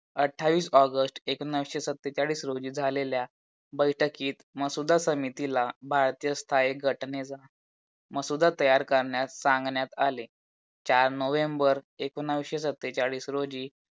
अठ्ठावीस ऑगस्ट एकोणीशे सत्तेचाळीस रोजी झालेल्या बैठकीत मसुदा समितीला भारतीय स्थाहिक घटनेचा मसुदा तयार करण्यास सांगण्यात आले. चार नोव्हेंबर एकोणीशे सत्तेचाळीस रोजी